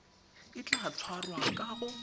o tla tshwarwa ka go